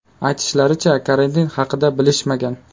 Aytishlaricha, karantin haqida bilishmagan.